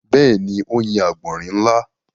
Bẹ́ẹ̀ni, ó yin àgbọ̀nrín ńlá.